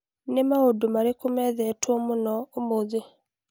Nĩ maũndũ marĩkũ methetwo mũno Google ũmũthĩ?